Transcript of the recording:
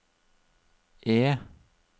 E